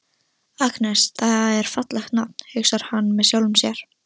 Agnes, það er fallegt nafn, hugsar hann með sjálfum sér.